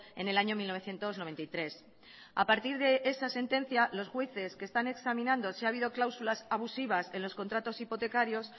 en el año mil novecientos noventa y tres a partir de esa sentencia los jueces que están examinando si ha habido cláusulas abusivas en los contratos hipotecarios